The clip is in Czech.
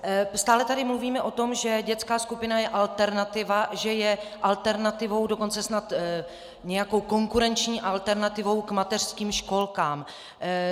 Stále tady mluvíme o tom, že dětská skupina je alternativa, že je alternativou, dokonce snad nějakou konkurenční alternativou k mateřským školkám.